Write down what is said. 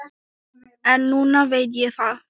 En núna veit ég það.